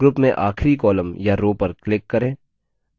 group में आखरी column या row पर click करें